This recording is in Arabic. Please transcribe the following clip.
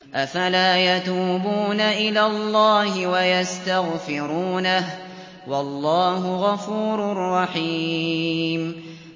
أَفَلَا يَتُوبُونَ إِلَى اللَّهِ وَيَسْتَغْفِرُونَهُ ۚ وَاللَّهُ غَفُورٌ رَّحِيمٌ